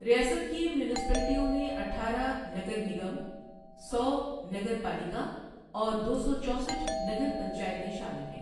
ریاست کی میونسپلٹیوں میں اٹھارہ نگر نگم، سو نگر پالیکا اور دو سو چوسٹھ نگر پنچایتیں شامل ہیں۔